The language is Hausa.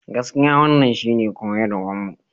Gaskiya wannan shine koyarwarmu.